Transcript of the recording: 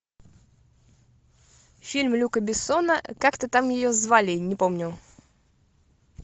фильм люка бессона как то там ее звали не помню